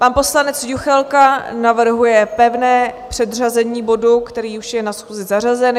Pan poslanec Juchelka navrhuje pevné předřazení bodu, který už je na schůzi zařazen.